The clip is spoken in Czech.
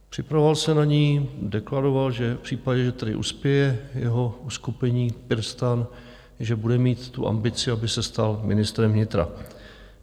Připravoval se na ni, deklaroval, že v případě, že tedy uspěje jeho uskupení PirSTAN, že bude mít tu ambici, aby se stal ministrem vnitra.